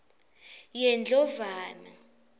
yendlovana